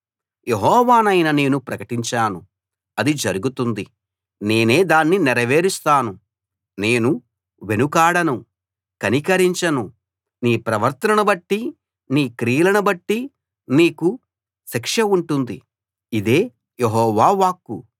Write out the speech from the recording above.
యెహోవానైన నేను ప్రకటించాను అది జరుగుతుంది నేనే దాన్ని నెరవేరుస్తాను నేను వెనుకాడను కనికరించను నీ ప్రవర్తనను బట్టి నీ క్రియలనుబట్టి నీకు శిక్ష ఉంటుంది ఇదే యెహోవా వాక్కు